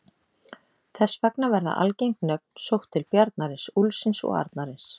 Þess vegna verða algeng nöfn sótt til bjarnarins, úlfsins og arnarins.